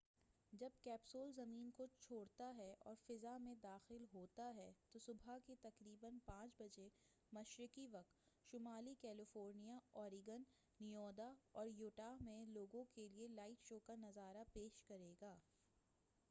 جب کیپسول زمین کو چھوڑتا ہے اور فضا میں داخل ہوتا ہے تو، صبح کے تقریبا 5 بجے مشرقی وقت، شمالی کیلیفورنیا، اوریگون، نیوادا اور یوٹاہ میں لوگوں کیلئے لائٹ شو کا نظارہ پیش کرے گا۔